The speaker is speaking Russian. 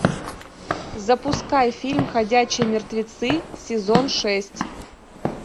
запускай фильм ходячие мертвецы сезон шесть